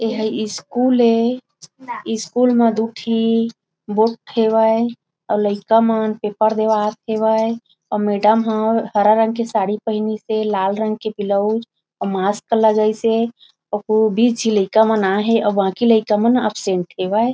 ए हा स्कूल हे स्कूल में दो ठी बोर्ड हवय अउ लइका मन पेपर देवत हे। अउ मैडम हा हरा रंग के सारी पहिने हे लाल रंग के ब्लाउज और मास्क लगाए हे बीस लइका मन आए हे अउ बाकि लइका मन एब्सेंट हेवय।